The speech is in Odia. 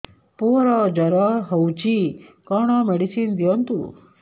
ପୁଅର ଜର ହଉଛି କଣ ମେଡିସିନ ଦିଅନ୍ତୁ